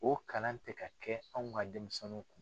O kalan tɛ ka kɛ anw ka denmisɛninw kun.